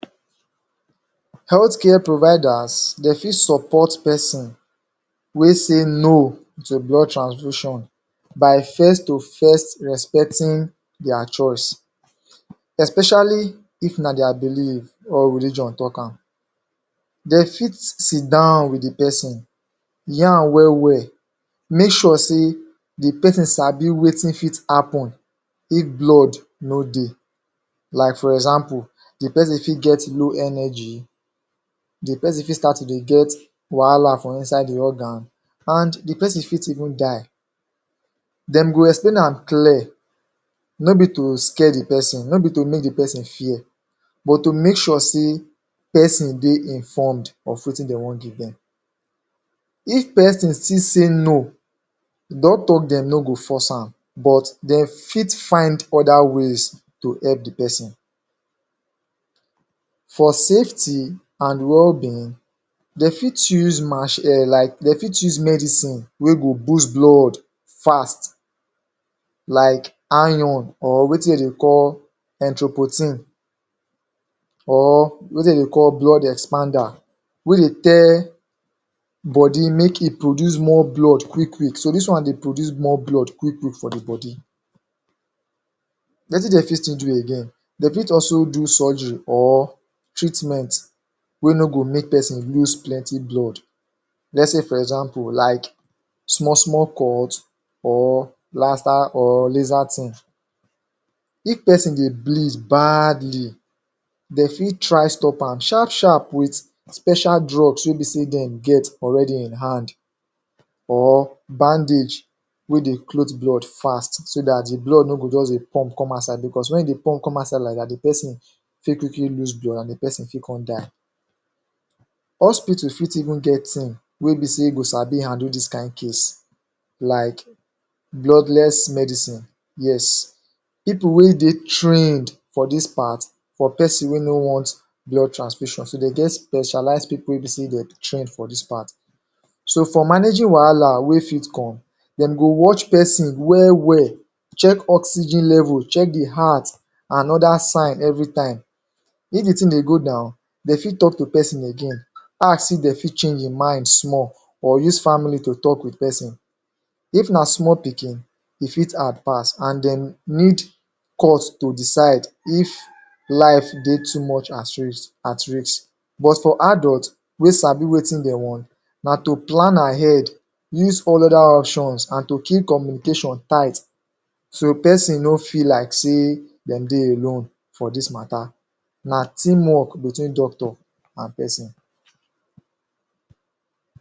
Health care providers, dem fit support person wey sey no to blood transfusion by first to first respecting their choice especially, if na their believe or religion talk am dem fit sidon with the person hear am well well make sure sey, the person sabi wetin fit happen if blood no dey like for example, the person fit get low energy, the person fit start to dey get wahala for inside im organ and the person fit even die dem go explain am clear no be to scare the person, no be to make the person fear but to make sure sey person dey informed of wetin dey wan give dem if person still sey no doctor dem no go force am but dem fit find other ways to help dey person. For safety and wellbeing, dem fit use um, dem fit use medicine wey go boost blood fast like iron or wetin dem dey call entre-protein or wetin dem dey call blood expander wey dey tell body make e produce more blood quickly, so dis wan dey produce more blood quickly for dey body. Wetin dem fit still do again, dem fit also do surgery or treatment wey no go make person loose plenty blood. Lets sey for example, like small small cord or? if person dey bleed badly, dem fit try stop am sharp sharp with special drugs wey be sey dem get already in hand or bandage wey dey cloth blood fast so that dey blood no go just dey pump come outside because when the blood pump come outside like that the person fit quickly loose blood and dey person fit come die hospital fit even get team wey be sey go sabi handle dis kain case like, bloodless medicine. Yes, people wey dey trained for dis part for person wey no want blood transfusion, so dey get specialized people wey be sey dem train for dis part so for managing wahala wey fit come, dem go watch person well well check oxygen level, check the heart and other sign every time. if dey thing dey go down, dem fit talk to person again ask if dem fit change im mind small or use family to talk with person. If na small pikin, e fit hard pass and then need cause to decide if life dey too much at risk but for adult wey sabi wetin dem want, na to plan ahead use all other options and to keep communuication tight so person no feel like sey, dem dey alone for dis matter, na team work between doctor and person.